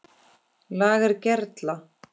LAGER GERLA